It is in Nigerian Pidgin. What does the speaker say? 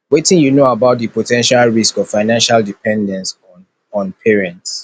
wetin you know about di po ten tial risks of financial dependence on on parents